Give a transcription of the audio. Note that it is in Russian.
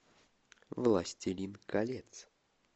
властелин колец